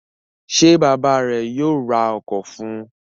Ṣé bàbá rẹ̀ yóò ra ọkọ̀ fún un?